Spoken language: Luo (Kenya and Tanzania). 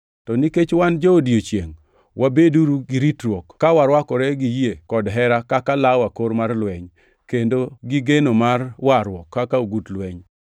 To nikech wan jo-odiechiengʼ, wabeduru gi ritruok ka warwakore gi yie kod hera kaka law akor mar lweny; kendo gi geno mar warruok kaka ogut lweny.